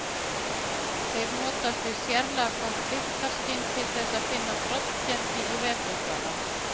Þeir notast við sérlega gott lyktarskyn til þess að finna broddgelti í vetrardvala.